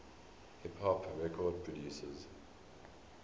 hip hop record producers